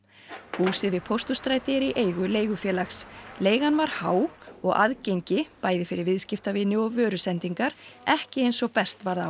húsið við Pósthússtræti er í eigu leigufélags leigan var há og aðgengi bæði fyrir viðskiptavini og vörusendingar ekki eins og best varð á